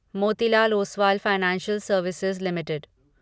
Motilal Oswal financial services limited